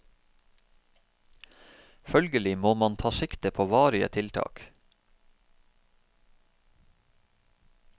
Følgelig må man ta sikte på varige tiltak.